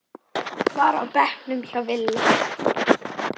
var á bekknum hjá Villa.